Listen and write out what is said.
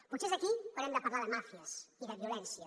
potser és aquí on hem de parlar de màfies i de violència